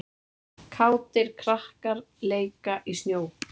Kátir leika krakkar í snjó.